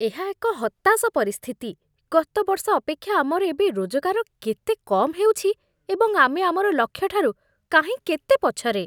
ଏହା ଏକ ହତାଶ ପରିସ୍ଥିତି! ଗତ ବର୍ଷ ଅପେକ୍ଷା ଆମର ଏବେ ରୋଜଗାର କେତେ କମ୍ ହେଉଛି, ଏବଂ ଆମେ ଆମର ଲକ୍ଷ୍ୟଠାରୁ କାହିଁ କେତେ ପଛରେ!